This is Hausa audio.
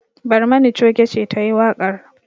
Barmani choge ce ta yi waƙar.